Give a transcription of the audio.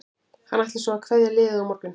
Hann ætlar svo að kveðja liðið á morgun.